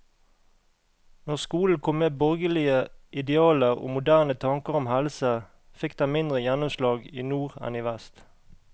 Når skolen kom med borgerlige idealer og moderne tanker om helse, fikk den mindre gjennomslag i nord enn i vest.